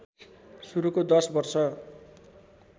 शुरुको दश वर्ष